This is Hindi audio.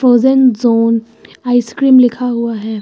ओजन जोन आइसक्रीम लिखा हुआ है।